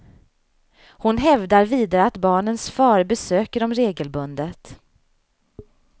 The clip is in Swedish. Hon hävdar vidare att barnens far besöker dem regelbundet.